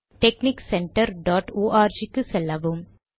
technique center dot org செல்லவும்